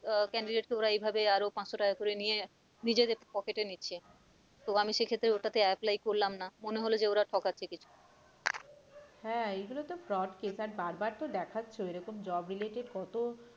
আহ candidate কে ওরা এইভাবে আরো পাঁচশো টাকা করে নিয়ে নিজেদের pocket এ নিচ্ছে তো আমি সেক্ষেত্রে ওটাতে apply করলাম না মনে হলো যে ওরা ঠকাচ্ছে কিছু হ্যাঁ এইগুলো তো frowd case আর বারবার তো দেকাচ্ছেও ওই রকম job related কত